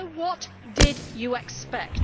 So what did you expect?